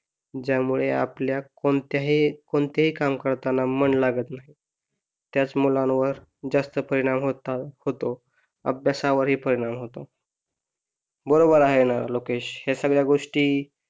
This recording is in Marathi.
ज्यमुळे आपल्या कोणत्याही कोणतेही काम करताना मन लागत नाही त्याच मुलांवर जास्त परिणाम होतात, अभ्यासावर ही परिणाम होतात बरोबर आहे ना, लोकेश या सगळ्या गोष्टी,